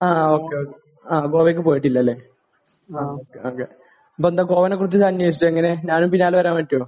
ആഹ്. Okay. Okay. ആഹ്. ഗോവക്ക് പോയിട്ടില്ലാലേ. ആ. ഓക്കേ.ഓക്കേ. നീ എന്താ ഗോവയെക്കുറിച്ച് അന്വേഷിച്ചാ? എങ്ങനെ? ഞാനും ബിലാലും വരാൻ പറ്റുമോ?